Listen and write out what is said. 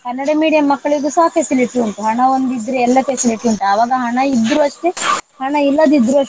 Kannada medium ಮಕ್ಕಳಿಗೂ ಸಹ facility ಉಂಟು. ಹಣ ಒಂದಿದ್ರೆ ಎಲ್ಲ facility ಉಂಟು. ಆವಾಗ ಹಣ ಇದ್ರು ಅಷ್ಟೇ ಹಣ ಇಲ್ಲದಿದ್ರೂ ಅಷ್ಟೇ.